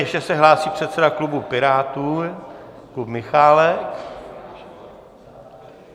Ještě se hlásí předseda klubu Pirátů Jakub Michálek.